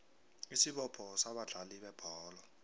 isibopho sabadlali bebholo